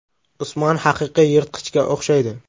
Usmon haqiqiy yirtqichga o‘xshaydi.